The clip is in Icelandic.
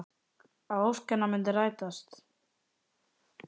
Að ósk hennar muni rætast.